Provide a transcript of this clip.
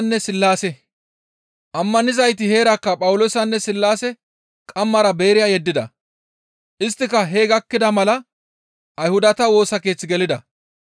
Ammanizayti heerakka Phawuloosanne Sillaase qammara Beeriya yeddida; isttika hee gakkida mala Ayhudata Woosa Keeththe gelida.